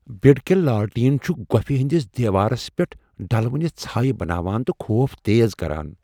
بِڈکیل لالٹین چُھ گوپھہِ ہندِس دیوارس پیٹھ ڈلونہ ژھایہ بناوان تہ خوف تیز کران۔